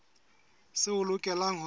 seo o lokelang ho se